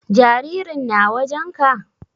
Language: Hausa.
Jaririn na wajen ka?